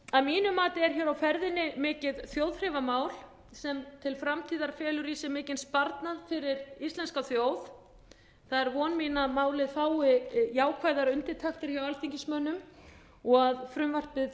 að mínu mati er hér á ferðinni mikið þjóðþrifamál sem til framtíðar felur í sér mikinn sparnað fyrir íslenska þjóð það er von mín að málið fái jákvæðar undirtektir hjá alþingismönnum og að frumvarpið